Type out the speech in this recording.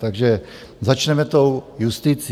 Takže začneme tou justicí.